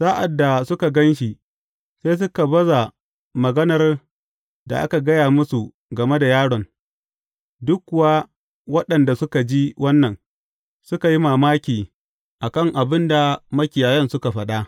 Sa’ad da suka gan shi, sai suka baza maganar da aka gaya musu game da yaron, duk kuwa waɗanda suka ji wannan, suka yi mamaki a kan abin da makiyayan suka faɗa.